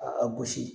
A gosi